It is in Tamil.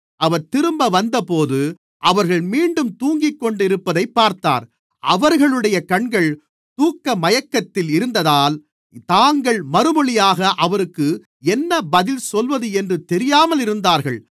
அவர் திரும்ப வந்தபோது அவர்கள் மீண்டும் தூங்கிக்கொண்டிருப்பதைப் பார்த்தார் அவர்களுடைய கண்கள் தூக்கமயக்கத்தில் இருந்ததால் தாங்கள் மறுமொழியாக அவருக்கு என்ன பதில் சொல்லுவது என்று தெரியாமல் இருந்தார்கள்